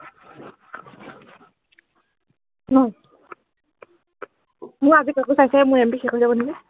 মোৰ আজি copy চাইছেহে মোৰ MB শেষ হৈ যাব নেকি